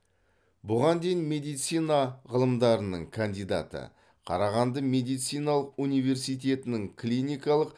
бұған дейін медицина ғылымдарының кандидаты қарағанды медициналық университетінің клиникалық